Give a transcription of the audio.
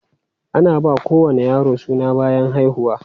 Ana ba kowane yaro suna bayan haihuwa.